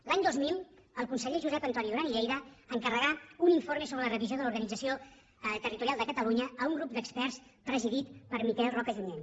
l’any dos mil el conseller josep antoni duran i lleida encarregà un informe sobre la revisió de l’organització territorial de catalunya a un grup d’experts presidit per miquel roca junyent